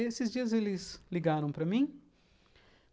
Esses dias eles ligaram para mim.